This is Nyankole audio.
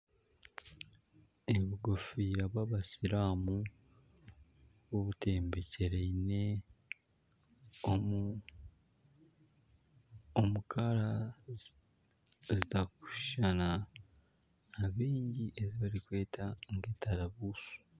Obukofiira bw'abasiramu obutembekyereine omu rangi zitarikushushana abaingi ezi barikweta entarabusi.